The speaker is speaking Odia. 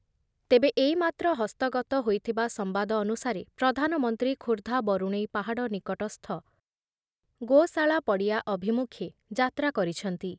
ତେବେ ଏଇମାତ୍ର ହସ୍ତଗତ ହୋଇଥିବା ସମ୍ବାଦ ଅନୁସାରେ ପ୍ରଧାନମନ୍ତ୍ରୀ ଖୋର୍ଦ୍ଧା ବରୁଣେଇ ପାହାଡ଼ ନିକଟସ୍ଥ ଗୋଶାଳା ପଡ଼ିଆ ଅଭିମୁଖେ ଯାତ୍ରା କରିଛନ୍ତି ।